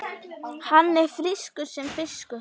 Hann er frískur sem fiskur.